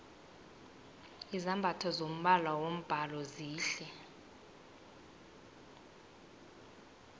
izambatho zombala wombhalo zihle